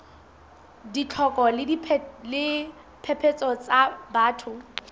ditlhoko le diphephetso tsa batho